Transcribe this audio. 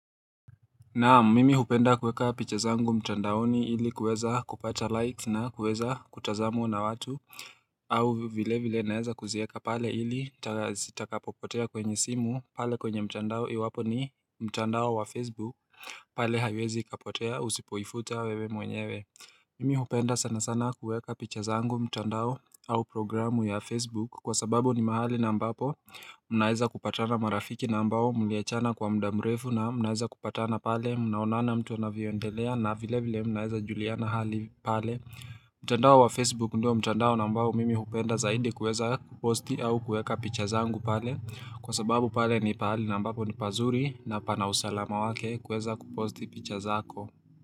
Naam mimi hupenda kuweka picha zangu mtandaoni ili kweza kupata likes na kuweza kutazamwa na watu au vile vile naeza kuziaka pale ili zitakapopotea kwenye simu pale kwenye mtandao iwapo ni mtandao wa facebook pale haiwezi kapotea usipoifuta wewe mwenyewe Mimi hupenda sana sana kuweka picha zangu mtandao au programu ya facebook Kwa sababu ni mahali na ambapo mnaeza kupatana marafiki na ambao mliachana kwa muda mrefu na mnaeza kupatana pale Mnaonana mtu anavyo endelea na vile vile mnaeza juliana hali pale mtandao wa Facebook ndio mtandao na mbao mimi hupenda zaidi kueza kuposti au kueka picha zangu pale Kwa sababu pale ni pahali na mbapo ni pazuri na pana usalama wake kueza kuposti picha zako.